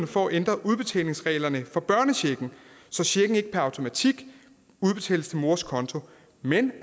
for at ændre udbetalingsreglerne for børnechecken så checken ikke per automatik udbetales til mors konto men